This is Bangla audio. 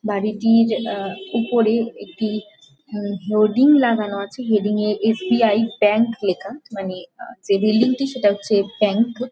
বাড়িটির আহ উপরে একটি হুম হোডিং লাগানো আছে। হেডিং এ এস.বি.আই. ব্যাঙ্ক লেখা। মানে যে বিল্ডিং টি সেটা হচ্ছে ব্যাঙ্ক ।